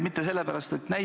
Aitäh tähelepanu eest!